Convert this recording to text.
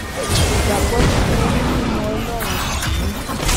ìgbàgbó tí mo ní nínú ọlórun kì í